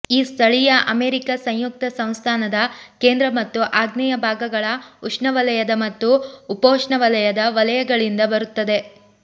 ಈ ಸ್ಥಳೀಯ ಅಮೆರಿಕ ಸಂಯುಕ್ತ ಸಂಸ್ಥಾನದ ಕೇಂದ್ರ ಮತ್ತು ಆಗ್ನೇಯ ಭಾಗಗಳ ಉಷ್ಣವಲಯದ ಮತ್ತು ಉಪೋಷ್ಣವಲಯದ ವಲಯಗಳಿಂದ ಬರುತ್ತದೆ